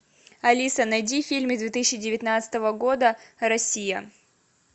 алиса найди фильмы две тысячи девятнадцатого года россия